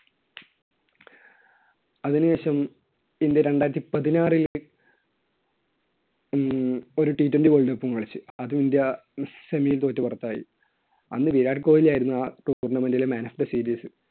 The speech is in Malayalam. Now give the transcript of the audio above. അതിനുശേഷം ഇന്ത്യ രണ്ടായിരത്തി പതിനാറിൽ ഏർ ഒരു twenty world cup കളിച്ചു. അത് ഇന്ത്യ semi യിൽ തോറ്റ് പുറത്തായി. അന്ന് വിരാട് കോഹ്ലി ആയിരുന്നു ആ tournmanet ലെ man of the series.